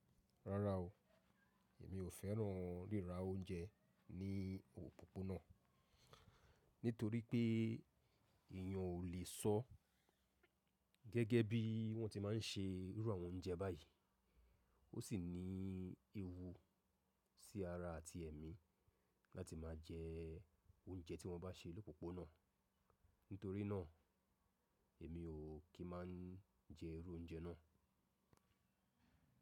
Rara o emi o feran rira ounje ni opopona nítorí pé èèyàn ò le sọ gẹ́gẹ́ bí wọ́n ti máa ń ṣe irú àwọn oúnjẹ báyìí. Ó sì ní ewu sí ara àti ẹ̀mí láti máa jẹ oúnjẹ tí wọ́n bá ṣe lópo náà. Nitori naa emi o ki n ma je iru ounje naa.